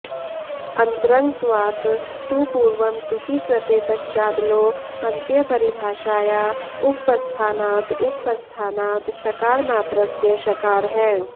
अन्तरङ्गत्वात् तु पूर्वं तुकि कृते पश्चादलोऽन्त्यपरिभाषाया उपस्थानात् उपस्थानात् छकारमात्रस्य शकारः